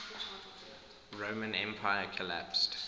roman empire collapsed